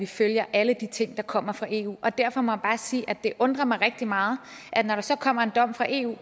følger alle de ting der kommer fra eu og derfor må jeg bare sige at det undrer mig rigtig meget at når der så kommer en dom fra eu